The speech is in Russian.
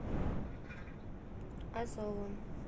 азовом